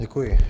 Děkuji.